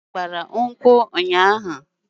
Ada gbara nkwu ụnyaahụ